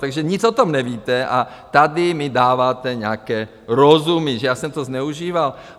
Takže nic o tom nevíte a tady mi dáváte nějaké rozumy, že já jsem to zneužíval.